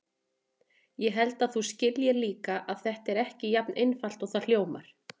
Ég held að þú skiljir líka að þetta er ekki jafn einfalt og það hljómar.